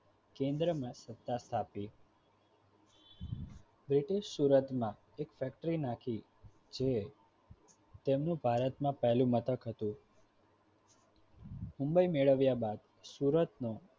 કેન્દ્રમાં સત્તા સ્થાપી બ્રિટિશ સુરતમાં એક ફેક્ટરી નાખી જે તેમનું ભારતમાં પહેલું મથક હતું મુંબઇ મેળવ્યા બાદ સુરતનું